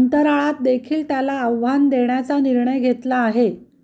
अंतराळात देखील त्याला आव्हान देण्याचा निर्णय घेतला आहे